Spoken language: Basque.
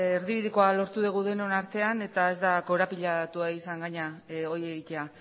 erdibidekoa lortu dugu denon artean eta ez da korapilatua izan gainera hori egitea